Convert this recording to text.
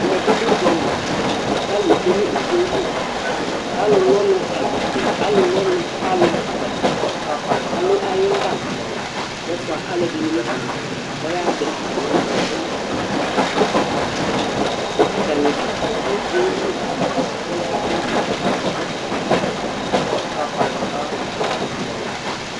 Ɛmɛ bi lɛ ʋdzali kʋ alu tsʋe ŋu ʋdzaɛli Ɔlu lu ɔnu kʋ alu agbate alu ayʋ gaba ɔfʋa alʋɛdìní ŋu ɔyaha tɛ atami ɔnu kabalu kama Ataŋi abʋ ŋu ʋdzaɛli kpe kpe kpe